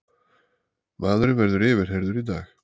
Maðurinn verður yfirheyrður í dag